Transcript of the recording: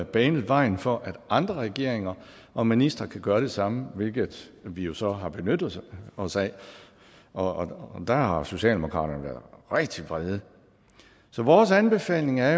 banet vejen for at andre regeringer og ministre kan gøre det samme hvilket vi jo så har benyttet os af og der har socialdemokraterne været rigtig vrede så vores anbefaling er